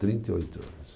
Trinta e oito anos.